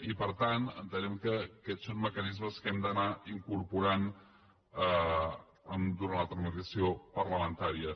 i per tant entenem que aquests són mecanismes que hem d’anar incorporant durant la tramitació parlamentària